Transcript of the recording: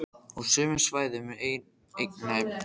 Á sömu svæðum eru einnig flestar virkar eldstöðvar á jörðinni.